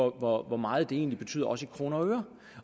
hvor hvor meget det egentlig betyder også i kroner og øre